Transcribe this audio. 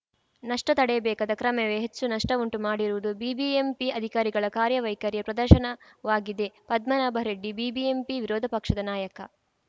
ನಷ್ಟತಡೆಯಬೇಕಾದ ಕ್ರಮವೇ ಹೆಚ್ಚು ನಷ್ಟವುಂಟು ಮಾಡಿರುವುದು ಬಿಬಿಎಂಪಿ ಅಧಿಕಾರಿಗಳ ಕಾರ್ಯವೈಖರಿಯ ಪ್ರದರ್ಶನವಾಗಿದೆ ಪದ್ಮನಾಭರೆಡ್ಡಿ ಬಿಬಿಎಂಪಿ ವಿರೋಧ ಪಕ್ಷದ ನಾಯಕ